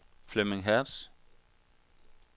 Flemming Hertz